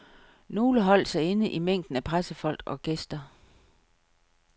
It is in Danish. Nogle holdt sig inde i mængden af pressefolk og gæster.